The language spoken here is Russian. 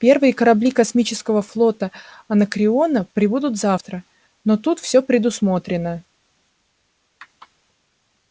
первые корабли космического флота анакреона прибудут завтра но тут всё предусмотрено